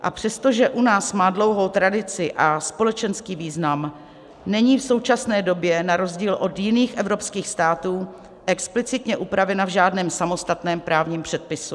A přestože u nás má dlouhou tradici a společenský význam, není v současné době na rozdíl od jiných evropských států explicitně upravena v žádném samostatném právním předpisu.